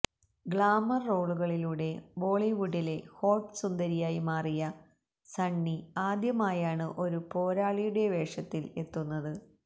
glamour റോളുകളിലൂടെ ബോളിവുഡിലെ hot സുന്ദരിയായി മാറിയ സണ്ണി ആദ്യമായാണ് ഒരു പോരാളിയുടെ വേഷത്തില് എത്തുന്നത്